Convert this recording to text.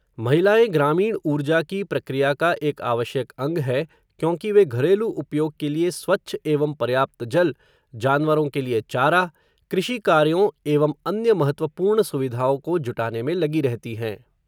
महिलाएँ ग्रामीण ऊर्जा की प्रक्रिया का एक आवश्यक अंग है क्योंकि वे घरेलू उपयोग के लिए स्वच्छ एवं पर्याप्त जल, जानवरों के लिए चारा, कृषि कार्यों एवं अन्य महत्वपूर्ण सुविधाओं को जुटाने में लगी रहती हैं.